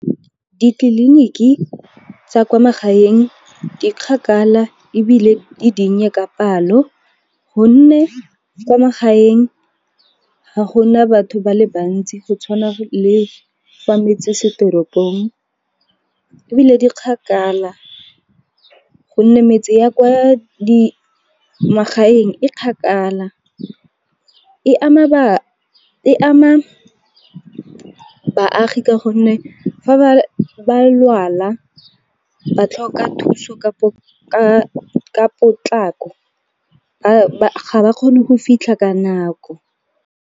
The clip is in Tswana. Ditleliniki tsa kwa magaeng di kgakala ebile di dinnye ka palo, gonne kwa magaeng ga gona batho ba le bantsi go tshwana le fa metse se teropong, ebile di kgakala gonne metse ya kwa magaeng e kgakala. E ama baagi ka gonne fa ba lwala ba tlhoka thuso ka potlako ga ba kgone go fitlha ka nako.